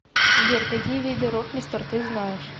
сбер какие виды ротмистр ты знаешь